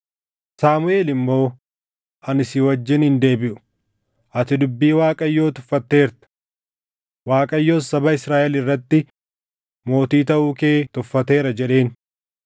Saamuʼeel immoo, “Ani si wajjin hin deebiʼu. Ati dubbii Waaqayyoo tuffatteerta; Waaqayyos saba Israaʼel irratti mootii taʼuu kee tuffateera!” jedheen.